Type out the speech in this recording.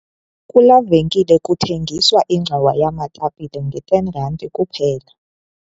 Kulaa venkile kuthengiswa ingxowa yeetapile nge-R10.00c kuphela.